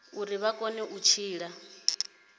uri vha kone u tshila